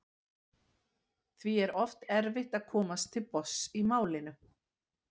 því er oft erfitt að komast til botns í málinu